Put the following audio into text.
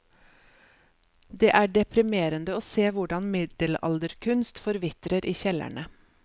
Det er deprimerende å se hvordan middelalderkunst forvitrer i kjellerne.